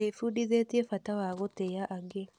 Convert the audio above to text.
Ndĩbundithĩtie bata wa gũtĩa angĩ.